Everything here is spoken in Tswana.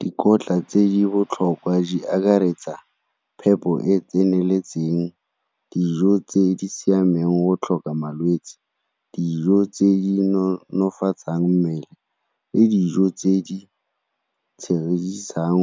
Dikotla tse di botlhokwa di akaretsa phepo e e tseneletseng, dijo tse di siameng o tlhoka malwetse, dijo tse di nonofatsa mmele le dijo tse di